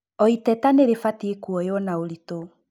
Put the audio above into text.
O iteta nĩ rĩbatie kũoyũo na ũritũ.